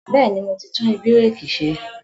Bẹ́ẹ̀ni, mo ti tún ibẹ̀rẹ̀kì ṣe